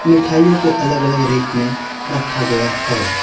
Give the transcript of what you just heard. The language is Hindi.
मिठाइयों को अलग अलग रैक में रखा गया है।